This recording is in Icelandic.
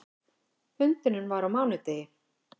Fundurinn var á mánudegi.